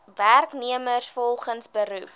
werknemers volgens beroep